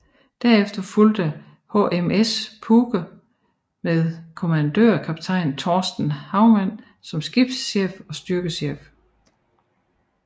Derefter fulgte HMS Puke med kommandørkaptajn Torsten Hagman som skibschef og styrkechef